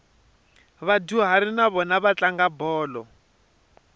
vadyuhari na vona va tlanga bolo